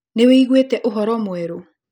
Nĩwiguĩte ũhoro mwerũ?